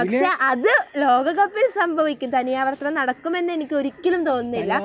പക്ഷേ അത് ലോകകപ്പിൽ സംഭവിക്കും, തനിയാവർത്തനം നടക്കും എന്നെനിക്ക് ഒരിക്കലും തോന്നുന്നില്ല.